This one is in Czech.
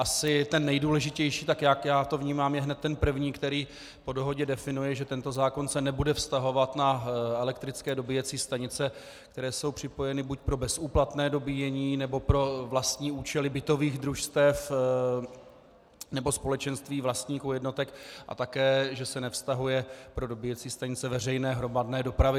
Asi ten nejdůležitější, tak jak já to vnímám, je hned ten první, který po dohodě definuje, že tento zákon se nebude vztahovat na elektrické dobíjecí stanice, kterou jsou připojeny buď pro bezúplatné dobíjení, nebo pro vlastní účely bytových družstev nebo společenství vlastníků jednotek, a také že se nevztahuje pro dobíjecí stanice veřejné hromadné dopravy.